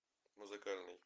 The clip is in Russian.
музыкальный